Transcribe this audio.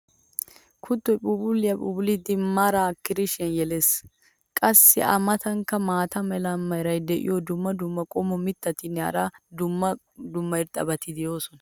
kuttoy phuuphphuliya phuuphphulidi maraa kirishiyan yelees. qassi a matankka maata mala meray diyo dumma dumma qommo mitattinne hara dumma dumma irxxabati de'oosona.